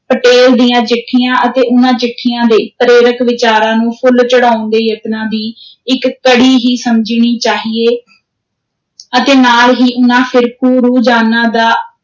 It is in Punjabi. ਪਟੇਲ ਦੀਆਂ ਚਿੱਠੀਆਂ ਅਤੇ ਉਨ੍ਹਾਂ ਚਿੱਠੀਆਂ ਦੇ ਪ੍ਰੇਰਕ ਵਿਚਾਰਾਂ ਨੂੰ ਫੁੱਲ ਚੜ੍ਹਾਉਣ ਦੇ ਯਤਨਾਂ ਦੀ ਇਕ ਕੜੀ ਹੀ ਸਮਝਣੀ ਚਾਹੀਏ ਅਤੇ ਨਾਲ ਹੀ ਉਨ੍ਹਾਂ ਫ਼ਿਰਕੂ ਰੁਹਜਾਨਾਂ ਦਾ